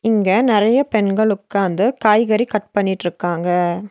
இங்க நெறைய பெண்கள் உக்காந்து காய்கறி கட் பண்ணிட்ருக்காங்க.